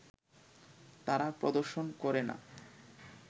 তারা প্রদর্শন করে না